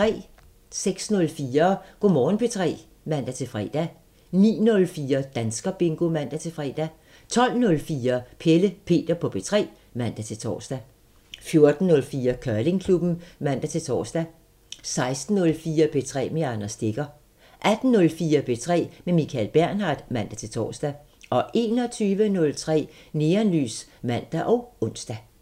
06:04: Go' Morgen P3 (man-fre) 09:04: Danskerbingo (man-fre) 12:04: Pelle Peter på P3 (man-tor) 14:04: Curlingklubben (man-tor) 16:04: P3 med Anders Stegger 18:04: P3 med Michael Bernhard (man-tor) 21:03: Neonlys (man og ons)